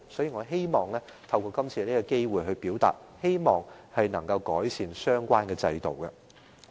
因此，我希望透過今次機會提出相關問題，希望可以改善制度。